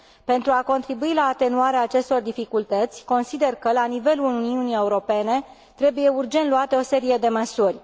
Pentru a contribui la atenuarea acestor dificultăți, consider că la nivelul Uniunii Europene trebuie urgent luate o serie de măsuri.